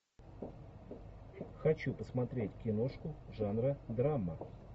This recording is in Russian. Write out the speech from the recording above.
хочу посмотреть киношку жанра драма